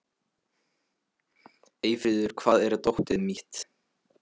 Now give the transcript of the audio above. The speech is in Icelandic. Eyfríður, hvar er dótið mitt?